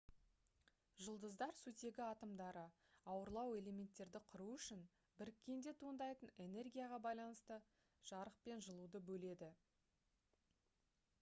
жұлдыздар сутегі атомдары ауырлау элементтерді құру үшін біріккенде туындайтын энергияға байланысты жарық пен жылуды бөледі